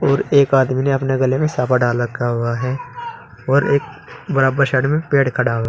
और एक आदमी ने अपने गले में साफा डाल रखा हुआ है और एक बराबर साइड में पेड़ खड़ा हुआ --